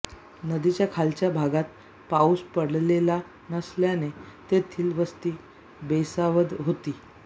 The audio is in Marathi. नदीच्या खालच्या भागात पाउस पडलेला नसल्याने तेथील वस्ती बेसावध होती